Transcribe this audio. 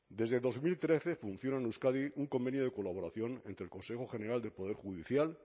desde dos mil trece funciona en euskadi un convenio de colaboración entre el consejo general del poder judicial